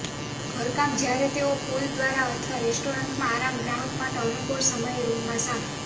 ઘરકામ જ્યારે તેઓ પૂલ દ્વારા અથવા રેસ્ટોરન્ટમાં આરામ ગ્રાહક માટે અનુકૂળ સમયે રૂમમાં સાફ